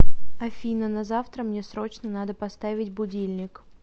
афина на завтра мне срочно надо поставить будильник